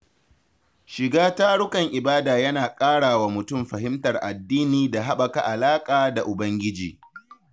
Shiga tarukan ibada yana ƙara wa mutum fahimtar addini da haɓaka alaƙa da ubangiji.